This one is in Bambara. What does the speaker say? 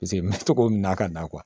Paseke n bɛ to k'o minɛ ka na